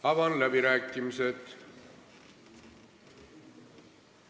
Avan läbirääkimised.